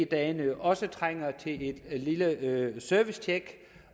dagene også trænger til et lille servicetjek